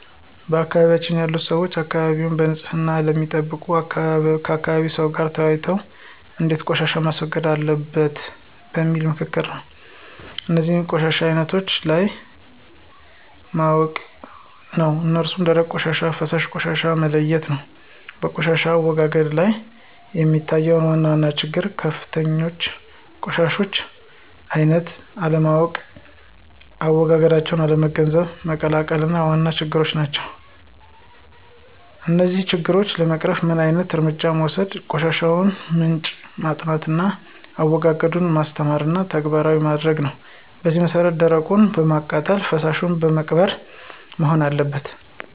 በአካባቢያችን ያሉ ሰዎች አካባቢያቸዉን በንፅህና የሚጠብቁት ከአካባቢ ሰው ጋር ተወያይተው እንዴት ቆሻሻን ማስወገድ አለበት በሚል በምክክር ነው። እነዚህንም የቆሻሻውን አይነት ለይቶ ማወቅ ነው እሱም ደረቅ ቆሻሻና ፈሳሽ ብሎ መለየት ነው። በቆሻሻ አወጋገድ ላይ የሚታዩ ዋና ዋና ችግሮችና ክፍተቶች የቆሻሻውን አይነት አለማወቅና አዎጋገዱን አለመገንዘብና መቀላቀል ነው ዋና ችግር። እነዚህን ችግሮች ለመቅረፍ ምን ዓይነት እርምጃ መወሰድ የቆሻሻውን ምንጭ ማጥናትና አዎጋገዱን ማስተማርና ተግባራዊ ማድረግ ነው በዚህ መሰረት ደረቁን በማቃጠልና ፈሳሹን በመቅበር መሆን አለበት።